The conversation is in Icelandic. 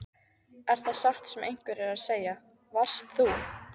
Er það satt sem einhverjir eru að segja: Varst þú.